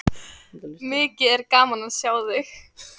Mikið er gaman að sjá þig.